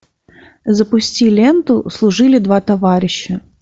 запусти ленту служили два товарища